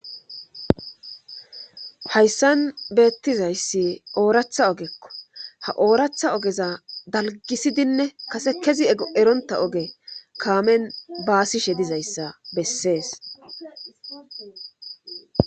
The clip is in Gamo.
hayssan beettizayssi ooratha ogekko ha ooratha ogeza dalgisidinne kase kezi eronta oge kaamen baasishe dizayssa bessees